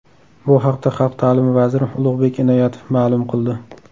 Bu haqda Xalq ta’limi vaziri Ulug‘bek Inoyatov ma’lum qildi.